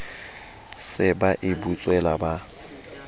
se ba e butswela ba